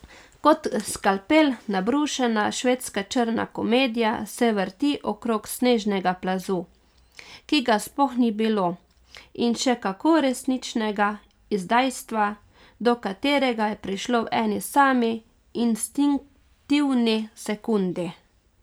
Kot skalpel nabrušena švedska črna komedija se vrti okrog snežnega plazu, ki ga sploh ni bilo, in še kako resničnega izdajstva, do katerega je prišlo v eni sami instinktivni sekundi.